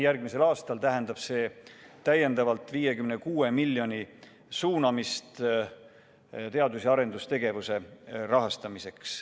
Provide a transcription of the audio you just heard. Järgmisel aastal tähendab see täiendavalt 56 miljoni euro suunamist teadus- ja arendustegevuse rahastamiseks.